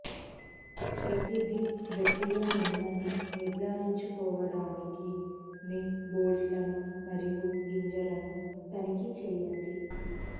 ప్రతిదీ గట్టిగా ఉందని నిర్ధారించుకోవడానికి మీ బోల్ట్లను మరియు గింజలను తనిఖీ చేయండి